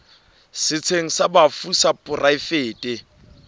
setsheng sa bafu sa poraefete